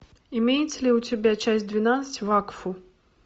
имеется ли у тебя часть двенадцать вакфу